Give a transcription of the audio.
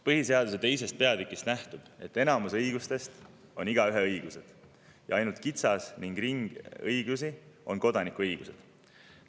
Põhiseaduse II. peatükist nähtub, et enamus õigustest on igaüheõigused ja ainult kitsas ring õigusi on kodanikuõigused.